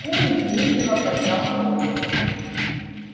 куинн вежливо поднял брови